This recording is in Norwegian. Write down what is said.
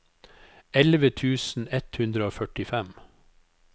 elleve tusen ett hundre og førtifem